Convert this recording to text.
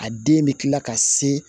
A den bɛ kila ka se